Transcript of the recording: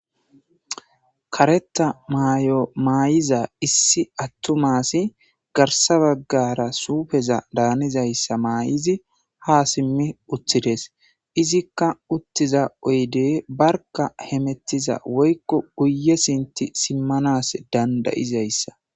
karetta may7o maay7iza issi attu aasi garsa baggara suufeza daanizayssa maay7izi ha simmi uttides izikka uttiza oyde barka hemettiza woykko guye sinti simmanas dandayizayssa